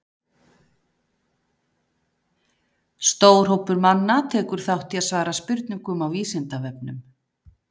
Stór hópur manna tekur þátt í að svara spurningum á Vísindavefnum.